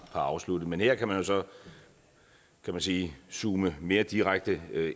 har afsluttet men her kan man så kan man sige zoome mere direkte